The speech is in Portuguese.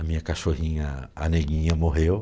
A minha cachorrinha, a neguinha, morreu.